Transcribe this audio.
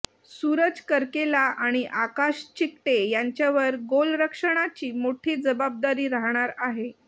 सुरज करकेला आणि आकाश चिकटे यांच्यावर गोलरक्षणाची मोठी जबाबदारी राहणार आहे